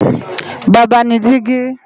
Baba ni digi